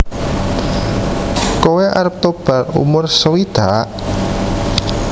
Koe arep tobat umur sewidak?